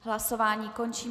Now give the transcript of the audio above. Hlasování končím.